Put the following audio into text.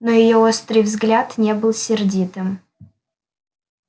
но её острый взгляд не был сердитым